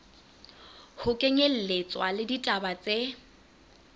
ho kenyelletswa le ditaba tse